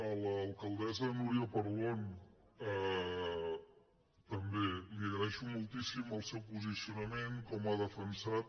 a l’alcaldessa núria parlon també li agraeixo moltíssim el seu posicionament com ha defensat